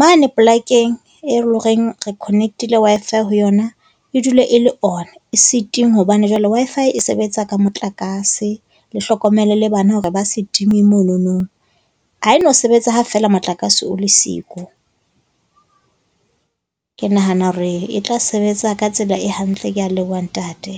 mane polakeng e leng hore re connect-ile Wi-Fi ho yona, e dule e le on. E se tingwe hobane jwale Wi-Fi e sebetsa ka motlakase. Le hlokomele le bana hore ba se time monono. Ha e no sebetsa ha feela motlakase o le siko. Ke nahana hore e tla sebetsa ka tsela e hantle. Kea leboha ntate.